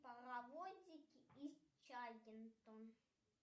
паровозики из чагинтон